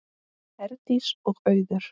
Herdís og Auður.